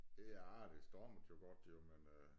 Ja det stormede jo godt jo men øh